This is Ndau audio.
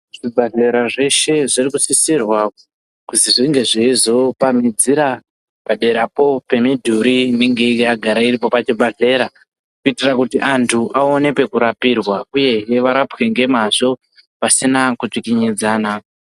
Zvibhedhlera zvese zviri kusisirwa kuti zvinge zveyizopamizira padera poo pemidhuri inenge yagara iripo pachibedhleya kuitira kuti andu aone pekurapirwa uye hee varapwe ngwmazvo pasina kutsvinidzana.